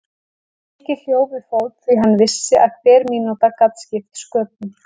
Nikki hljóp við fót því hann vissi að hver mínúta gat skipt sköpum.